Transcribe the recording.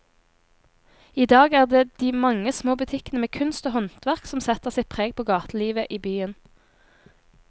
I dag er det de mange små butikkene med kunst og håndverk som setter sitt preg på gatelivet i byen.